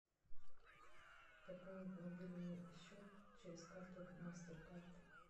пополнить мобильный счет через карту мастеркард